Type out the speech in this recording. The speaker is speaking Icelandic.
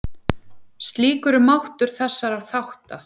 Slíkur er máttur þessara þátta.